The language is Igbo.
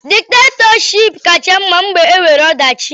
Diktatọship kacha mma mgbe e nwere ọdachi.